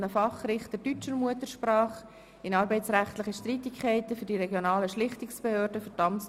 Der erste Vizepräsident sagt, nun seien ausreichend Ratsmitglieder im Saal, damit wir starten können.